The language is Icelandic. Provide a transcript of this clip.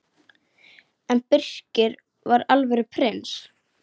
En Birkir var alvöru prins.